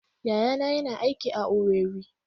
Yayana yana aiki a Owerri.